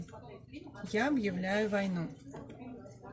я объявляю войну